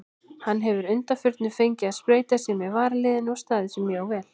Hann hefur að undanförnu fengið að spreyta sig með varaliðinu og staðið sig mjög vel.